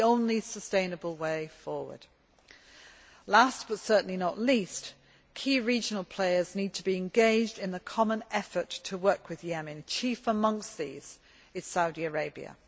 It is the only sustainable way forward. Last, but certainly not least, key regional players need to be engaged in the common effort to work with Yemen chief amongst these is Saudi Arabia.